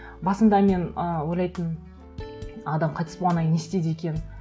басында мен ы ойлайтынмын адам қайтыс болғаннан кейін не істейді екен